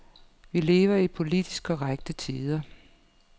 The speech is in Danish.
Vi lever i politisk korrekte tider.